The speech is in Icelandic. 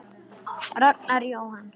Ragnar Jóhann.